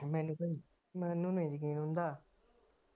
ਮੈਨੂੰ ਤਾ ਮੈਨੂੰ ਨਹੀ ਯਕੀਨ ਹੁੰਦਾ।